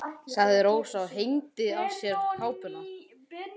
sagði Rósa og hengdi af sér kápuna.